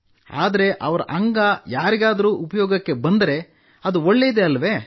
ಆದರೆ ಅವರ ಅಂಗ ಯಾರಿಗಾದರೂ ಉಪಯೋಗಕ್ಕೆ ಬಂದರೆ ಅದು ಒಳ್ಳೆಯದೇ ಅಲ್ಲವೇ